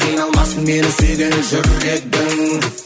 қиналмасын мені сүйген жүрегің